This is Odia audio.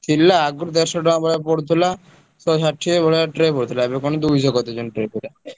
ଥିଲା ଆଗୁରୁ ଦେଢସହ ଟଙ୍କା ଭଳିଆ ପଡୁଥିଲା। ଶହେ ଷାଠିଏ ଭଳିଆ tray ପଡୁଥିଲା ଏବେ କଣ ଦୁଇଶହ କରିଦେଇଛନ୍ତି tray ପୁରା।